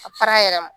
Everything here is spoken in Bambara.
A fara yɛrɛ ma